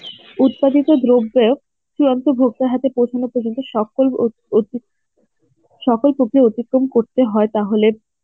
উৎপাদিত দ্রব্যে চূড়ান্ত ভোক্তার হাতে পৌঁছানো পর্যন্ত সকল উত~ উত~ সকল প্রক্রিয়া অতিক্রম করতে হয় তাহলে